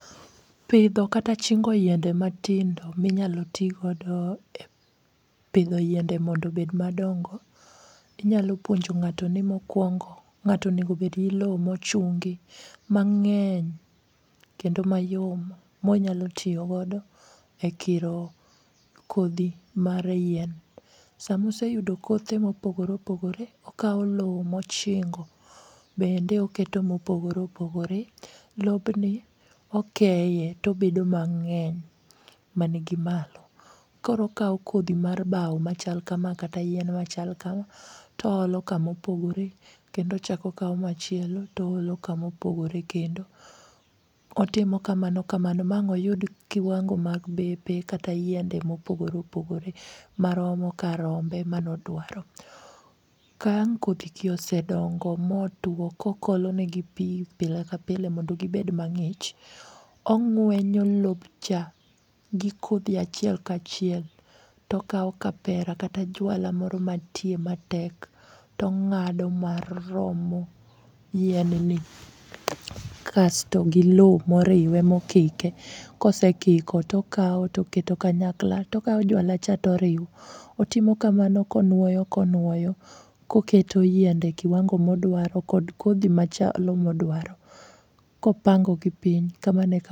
Pidho kata chingo yiende matindo minyalo tigodo e pidho yiende mondo obed madongo inyalo puonjo ng'ato ni mokwongo ng'ato onegobed gi lo mochungi mang'eny kendo mayom monyalo tiyogodo e kiro kodhi mar yien. Samoseyudo kothe mopogore opogore, okawo lowo mochingo bende oketo mopogore opogore. Lobni okeye tobedo mang'eny manigi malo koro okawo kodhi mar bao machal kama kata yien machak kama toolo kamopogore kendo ochako kawo machielo toolo kamopogore kendo. Otimo kamano kamano ma ang' oyud kiwango mag bepe kata yiende mopogore opogore maromo kar rombe manodwaro. Ka ang' kodhigi osedongo motwo kokoolonegi pi pile ka pile mondo gibed mang'ich, ong'wenyo lobcha gi kodhi achiel kachiel tokawo kapera kata jwala moro mantie matek tong'ado maromo yienni kasto gi lo moriwe mokike kosekiko tokawo toketo kanyakla tokawo jwalacha toriwo. Otimo kamano konuoyo konuoyo koketo yiende kiwango modwaro kod kodhi machalo modwaro kopangogi piny kamano e kaka..